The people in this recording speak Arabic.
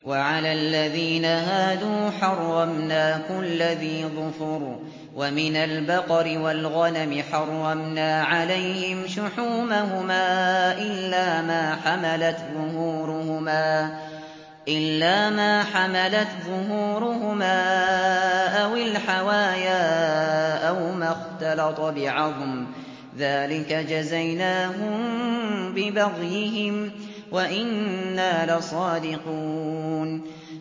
وَعَلَى الَّذِينَ هَادُوا حَرَّمْنَا كُلَّ ذِي ظُفُرٍ ۖ وَمِنَ الْبَقَرِ وَالْغَنَمِ حَرَّمْنَا عَلَيْهِمْ شُحُومَهُمَا إِلَّا مَا حَمَلَتْ ظُهُورُهُمَا أَوِ الْحَوَايَا أَوْ مَا اخْتَلَطَ بِعَظْمٍ ۚ ذَٰلِكَ جَزَيْنَاهُم بِبَغْيِهِمْ ۖ وَإِنَّا لَصَادِقُونَ